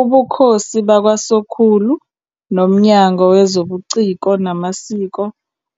Ubukhosi bakwaSokhulu noMnyango Wezobuciko Namasiko